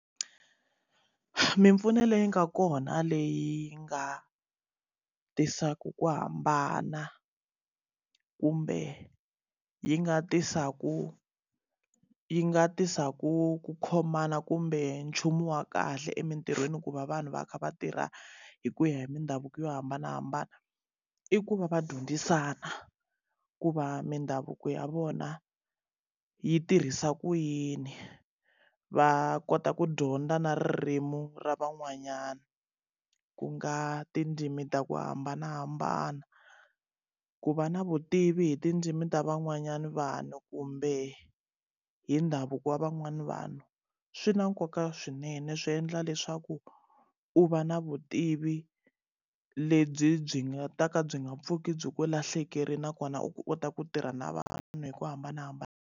Mimpfuno leyi nga kona leyi nga tisaka ku hambana, kumbe yi nga tisaka yi nga tisaka ku khomana kumbe nchumu wa kahle emintirhweni ku va vanhu va kha va tirha hi ku ya hi mindhavuko yo hambanahambana. I ku va va dyondzisana ku va mindhavuko ya vona yi tirhisa ku yini, va kota ku dyondza na ririmi ra van'wanyana ku nga tindzimi ta ku hambanahambana. Ku va na vutivi hi tindzimi ta van'wanyana vanhu kumbe hi ndhavuko wa van'wani vanhu. Swi na nkoka swinene swi endla leswaku u va na vutivi lebyi byi nga ta ka byi nga pfuki byi ku lahlekerile nakona u kota ku tirha na vanhu hi ku hambanahambana.